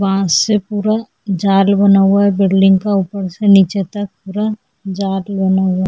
वहा से पूरा जाल बना हुआ है पूरा बिल्डिंग का ऊपर से नीचे तक जाल बना हुआ है।